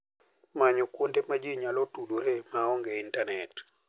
Many kuonde ma ji nyalo tudoree ma onge intanet.